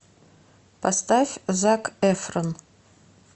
поставь зак эфрон